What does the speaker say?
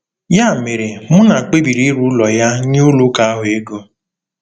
Ya mere, Muna kpebiri ire ụlọ ya nye ụlọ ụka ahụ ego.